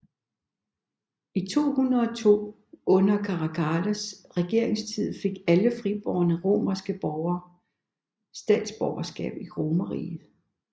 I 212 under Caracallas regeringstid fik alle fribårne romerske borger statsborgerskab i Romerriget